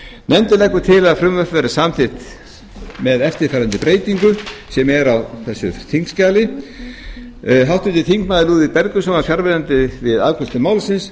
nefndin leggur til að frumvarpið verði samþykkt með þeim breytingum sem nefndar eru í álitinu háttvirtir þingmenn lúðvík bergvinsson var fjarverandi við afgreiðslu málsins